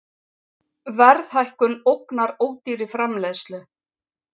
Verðhækkun ógnar ódýrri framleiðslu